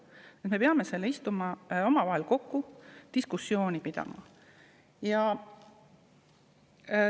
Nii et me peame tulema kokku ja omavahel diskussiooni pidama.